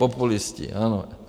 Populisti, ano.